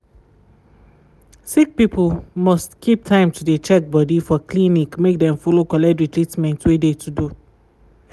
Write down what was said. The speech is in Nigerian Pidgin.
sick people must keep time to de checkbody for clinic make dem follow collect de treatment wey de to do.